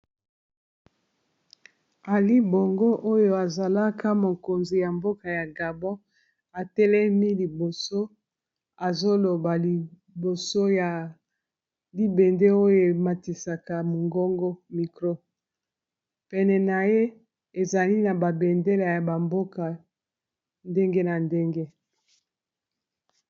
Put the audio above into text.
Alii-bongo oyo azalaka mokonzi ya mboka ya gabon atelemi liboso azoloba liboso ya libende oyo ematisaka mongongo mikro pene na ye ezali na ba bendela ya ba mboka ndenge na ndenge.